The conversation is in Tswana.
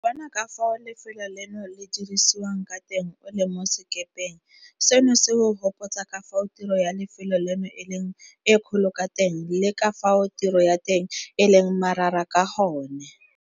Go bona ka fao lefelo leno le dirisiwang ka teng o le mo sekepeng, seno se go gopotsa ka fao tiro ya lefelo leno e leng e kgolo ka teng le ka fao tiro ya teng e leng marara ka gone.